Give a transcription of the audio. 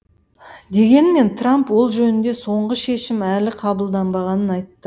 дегенмен трамп ол жөнінде соңғы шешім әлі қабылданбағанын айтты